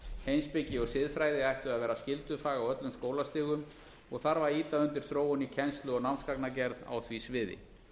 heimspeki og siðfræði ættu að vera skyldufag á öllum skólastigum og þarf að ýta undir þróun í kennslu og námsgagnagerð á því sviði